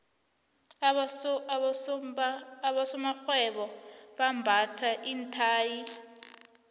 abosomarhwebo bambatha iinthayi